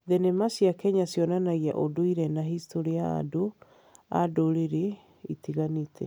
Thenema cia Kenya cionanagia ũndũire na historĩ ya andũ a ndũrĩrĩ itiganĩte.